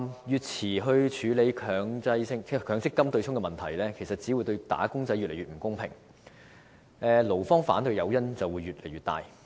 越遲處理強制性公積金對沖問題，對"打工仔"只會越來越不公平，勞方反對的誘因也會越來越大。